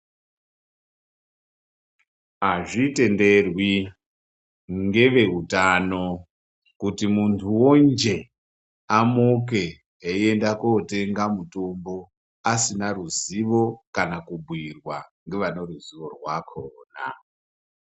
Azvitenderwi ngeveutano kuti muntuwo njee amuke eyienda kutenga mutombo asina ruzivo kana kubhuyirwa ngevane ruzivo rwakhona .